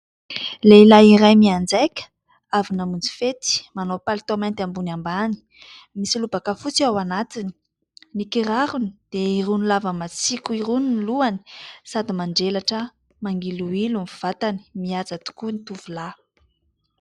Lehilahy iray mianjaika avy namonjy fety : manao palitao mainty ambony ambany misy lobaka fotsy ao anatiny. Ny kirarony dia irony lava matsiko irony ny lohany sady manjelatra mangiloilo ny vatany, mihaja tokoa ny tovolahy.